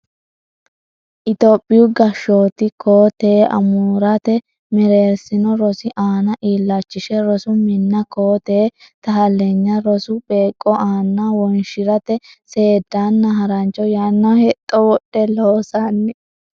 Itophiyu gashooti koo tee amuraate mereersino rosi aana illachishe rosu minna koo tee taaleennya rosu beeqqo aana wonshi rate seedanna harancho yanna hexxo wodhe loosanni.